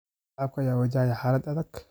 Shacabka ayaa wajahaya xaalad adag.